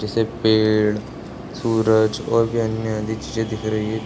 जैसे पेड़ सूरज और भी अन्य अधिक चीजें दिख रही हैं।